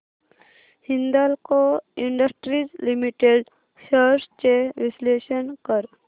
Hindalco industries limited shares चे विश्लेषण कर